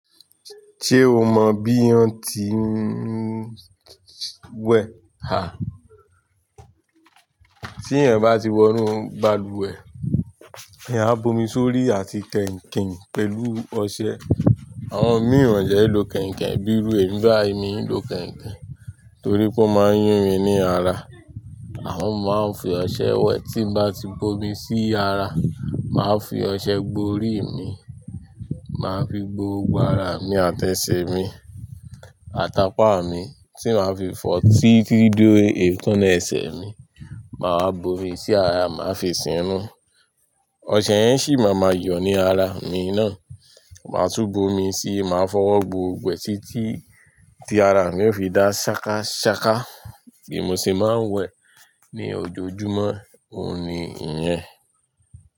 Ṣé o mọ bí wọ́n ti ń wẹ̀. À, tí èyàn bá ti wọnu balùwẹ̀, èyàn á bomi sórí àti kẹ̀ǹkẹ̀ǹ pẹ̀lú ọṣẹ. Àwọn ìmí wọ́n dẹ̀ ń lo koinkoin bí irú èmi báyì, mìí lo koinkoin torípé ó máa ń yún mi lára. Àmọ́ mo máa ń fi ọṣẹ wẹ̀ tí n bá ti bomi sí ara, máa fi ọṣẹ gbo orí mi, máa fi gbó gbógbo ara mi àti ẹsẹ̀ mi, àtápá mi tí màá fi fọ́ tí títí dé èékánná ẹsẹ̀ mi, màá bómi sí ara, màá fi sínú, ọṣẹ yẹn sì máa ma yọ ní ara mi náà, màá tún bomi síi, màá fọ́wọ́ gbó gbogbo ẹ̀ títí tí ara mi ó fi dá ṣakaṣaka bí mo ṣe máa ń wẹ̀ ní ojoojúmọ́, òun ni ìyẹn.